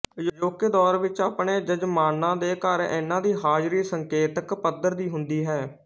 ਅਜੋਕੇ ਦੌਰ ਵਿਚ ਆਪਣੇ ਜਜ਼ਮਾਨਾਂ ਦੇ ਘਰ ਇਨ੍ਹਾਂ ਦੀ ਹਾਜ਼ਰੀ ਸੰਕੇਤਕ ਪੱਧਰ ਦੀ ਹੁੰਦੀ ਹੈ